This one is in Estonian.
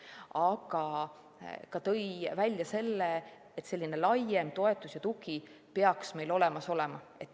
tõi välja ka selle, et selline laiem toetus ja tugi peaks meil olemas olema.